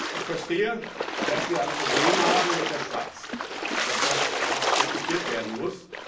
Ich verstehe, dass wir ein Problem haben mit der Schweiz, und dass das auch diskutiert werden muss.